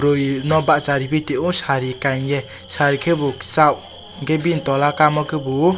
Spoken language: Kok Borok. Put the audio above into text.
boroi no basa ripi tongyo sari kanye sari kebo kesag angke bin tola kama kebo.